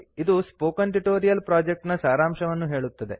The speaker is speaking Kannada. ಇದು ಸ್ಪೋಕನ್ ಟ್ಯುಟೋರಿಯಲ್ ಪ್ರೊಜೆಕ್ಟ್ ನ ಸಾರಾಂಶವನ್ನು ಹೇಳುತ್ತದೆ